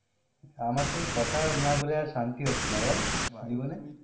আমার সঙ্গে কথা না বলে আর শান্তি হচ্ছে না বল?